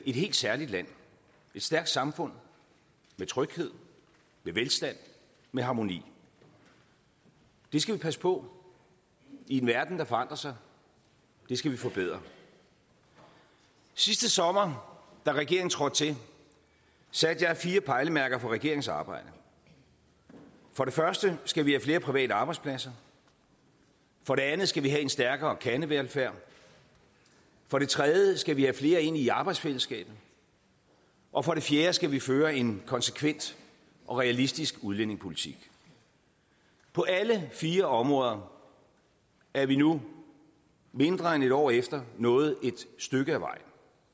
helt særligt land et stærkt samfund med tryghed med velstand med harmoni det skal vi passe på i en verden der forandrer sig det skal vi forbedre sidste sommer da regeringen trådte til satte jeg fire pejlemærker for regeringens arbejde for det første skal vi have flere private arbejdspladser for det andet skal vi have en stærkere kernevelfærd for det tredje skal vi have flere ind i arbejdsfællesskabet og for det fjerde skal vi føre en konsekvent og realistisk udlændingepolitik på alle fire områder er vi nu mindre end et år efter nået et stykke af vejen